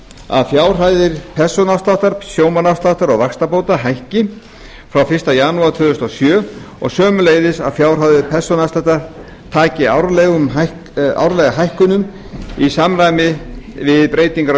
að fjárhæðir persónuafsláttar sjómannaafsláttar og vaxtabóta hækki frá fyrsta janúar tvö þúsund og sjö og sömuleiðis að fjárhæðir persónuafsláttar taki árlega hækkunum til samræmis við breytingar á